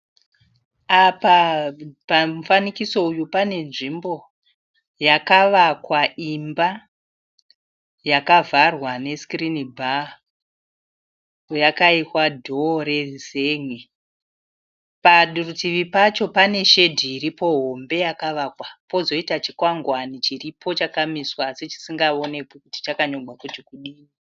Apa pamufananidzo uyu pane nzvimbo yakawakwa imba yakavharwa nesikirini bha yakaiswa dhoo rezengi. Parutivi pacho pane shedhi hombe yakawakwa kozoita chikwangwani chiripo chakamiswa asi chisingaonekwi kuti chakanyorwa kunzi kudii